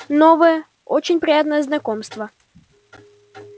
новое очень приятное знакомство